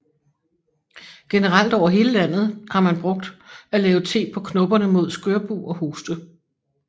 Generelt over hele landet har man brugt at lave te på knopperne mod skørbug og hoste